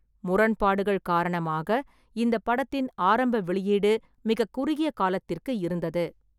முரண்பாடுகள் காரணமாக இந்தப் படத்தின் ஆரம்ப வெளியீடு மிகக் குறுகிய காலத்திற்கு இருந்தது.